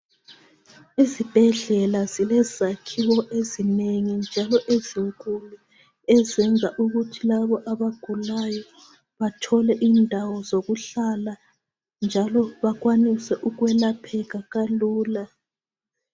Izibhedlela zilezakhiwo ezinengi njalo ezinkulu ezenza ukuthi labo abagulayo bathole indawo zokuhlala njalo bakwanise ukwelapheka kalula.